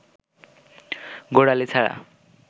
গোড়ালি ছাড়া